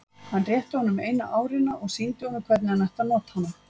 Hann rétti honum eina árina og sýndi honum hvernig hann ætti að nota hana.